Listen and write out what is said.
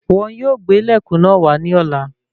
Wọn yóò gbé ilẹkùn náà wà ní ọ̀la.